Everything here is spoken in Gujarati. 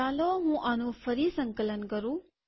ચાલો હું આનું ફરી સંકલન કરું